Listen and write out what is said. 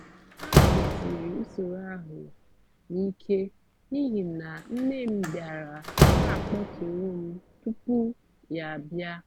a kwụsịrị usoro ahụ n’ike n’ihi na nne m bịara na akpọtụrụ m tupu ya bịa